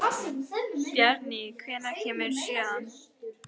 Bjarný, hvenær kemur sjöan?